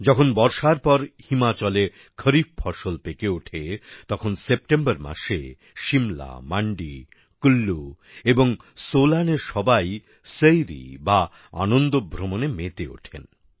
যখন বর্ষার পর হিমাচলে খরিফ ফসল পেকে ওঠে তখন সেপ্টেম্বর মাসে সিমলা মান্ডি কুল্লু এবং সোলানের সবাই সইরি বা আনন্দভ্রমণে মেতে ওঠেন